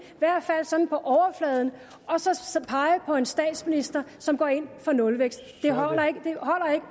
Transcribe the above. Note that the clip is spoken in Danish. i hvert fald sådan på overfladen og så så pege på en statsminister som går ind for nulvækst det holder ikke